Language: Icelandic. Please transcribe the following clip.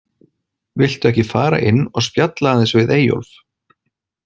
Viltu ekki fara inn og spjalla aðeins við Eyjólf?